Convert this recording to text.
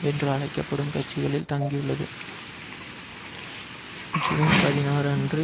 என்று அழைக்க படும் கட்சிகளில் தங்கியுள்ளது ஜூன் பதினாறு அன்று